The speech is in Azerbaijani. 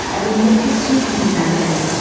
əlindəki sür neyzəni.